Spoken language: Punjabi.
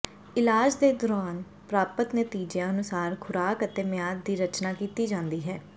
ਇਲਾਜ ਦੇ ਦੌਰਾਨ ਪ੍ਰਾਪਤ ਨਤੀਜਿਆਂ ਅਨੁਸਾਰ ਖੁਰਾਕ ਅਤੇ ਮਿਆਦ ਦੀ ਰਚਨਾ ਕੀਤੀ ਜਾਂਦੀ ਹੈ